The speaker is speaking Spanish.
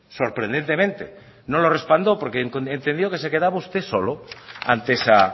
sorprendentemente no lo respaldó porque entendió que se quedaba usted solo ante esa